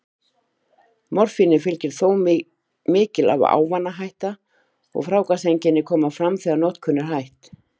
Morfíni fylgir þó mikil ávanahætta, og fráhvarfseinkenni koma fram þegar notkun er hætt.